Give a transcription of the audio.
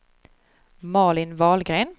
Malin Wahlgren